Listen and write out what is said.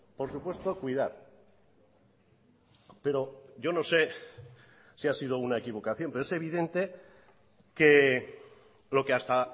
por supuesto cuidar pero yo no sé si ha sido una equivocación pero es evidente que lo que hasta